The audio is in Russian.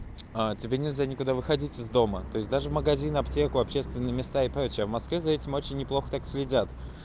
а тебе нельзя никуда выходить из дома то есть даже в магазин аптеку общественные места и прочее в москве за этим очень неплохо так следят